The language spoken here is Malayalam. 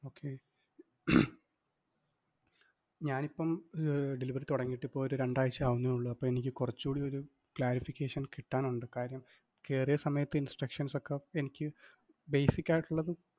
okay ഞാൻ ഇപ്പം delivery തൊടങ്ങിയിട്ട് ഇപ്പൊ ഒരു രണ്ടാഴ്ച ആവുന്നേയുള്ളു, അപ്പൊ എനിക്ക് കൊറച്ചൂടി ഒരു clarification കിട്ടാനുണ്ട്, കാര്യം, കേറിയ സമയത്ത് instructions ഒക്കെ എനിക്ക് basic ആയിട്ടുള്ളത്